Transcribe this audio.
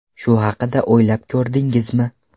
Shu haqida o‘ylab ko‘rdingizmi?